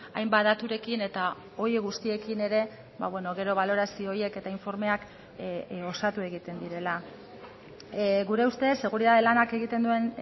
hainbat daturekin eta horiek guztiekin ere gero balorazio horiek eta informeak osatu egiten direla gure ustez seguritate lanak egiten duen